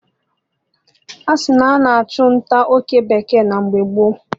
Asikwa na a na-achụ nta oke bekee mgbe gboo